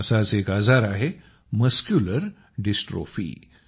असाच एक आजार आहे मस्क्युलर डिस्ट्रोफी